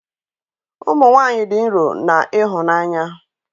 Ụmụ nwanyị dị nro na ịhụnanya